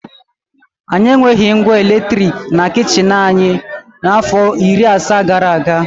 Anyị enweghị ngwa eletrik na kichin anyị afọ iri asaa gara aga.